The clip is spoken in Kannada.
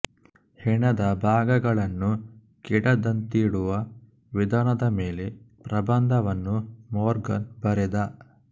ಹೆಣದ ಭಾಗಗಳನ್ನು ಕೆಡದಂತಿಡುವ ವಿಧಾನದ ಮೇಲೆ ಪ್ರಬಂಧವನ್ನು ಮೋರ್ಗನ್ ಬರೆದ